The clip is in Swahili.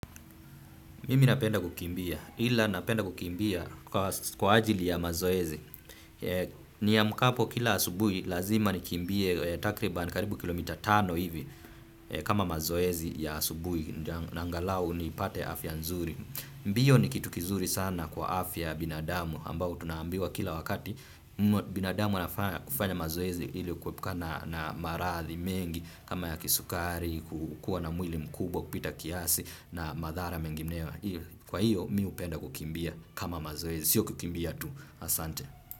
Mimi napenda kukimbia. Ila napenda kukimbia kwa ajili ya mazoezi. Niamkapo kila asubui lazima nikimbie takriban karibu kilomita tano hivi kama mazoezi ya asubui. Angalau nipate afya nzuri. Mbiyo ni kitu kizuri sana kwa afya ya binadamu ambao tunaambiwa kila wakati. Binadamu anafaa kufanya mazoezi ili kuepuka na maradhi mengi kama ya kisukari, kukua na mwili mkubwa kupita kiasi na madhara mengineyo kwa hiyo mimi hupenda kukimbia kama mazoezi, siyo kukimbia tu asante.